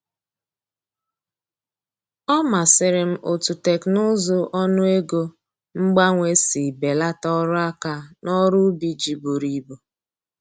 Ọ masịrị m otú teknụzụ ọnụego mgbanwe si belata ọrụ aka n’ọrụ ubi ji buru ibu.